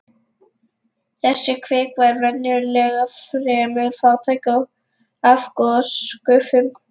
Þessi kvika er venjulega fremur fátæk af gosgufum.